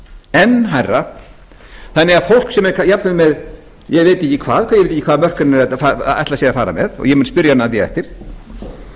enn hærra þannig að fólk sem er jafnvel með ég veit ekki hvaða mörk hann ætlar sér að fara með og ég mun spyrja hann að því